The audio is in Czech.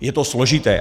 Je to složité.